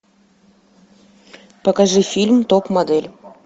покажи фильм топ модель